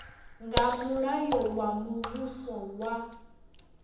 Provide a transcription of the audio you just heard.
nga mulayo wa muvhuso wa